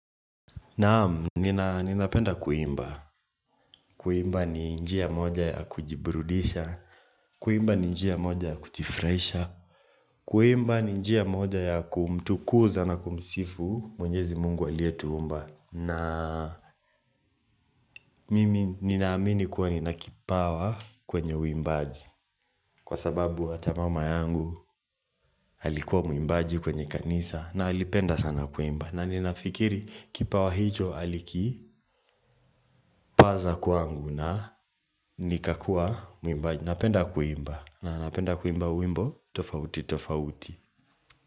Naamu, ninapenda kuimba. Kuimba ni njia moja ya kujiburudisha. Kuimba ni njia moja ya kujifurahisha. Kuimba ni njia moja ya kumtukuza na kumsifu mwenyezi mungu aliyetuumba. Na ninaamini kuwa nina kipawa kwenye uimbaji Kwa sababu hattamama yangu alikuwa muimbaji kwenye kanisa na alipenda sana kuimba na ninafikiri kipawa hicho aliki paza kwangu na nikakua uimbaji napenda kuimba na napenda kuimba wimbo tofauti tofauti.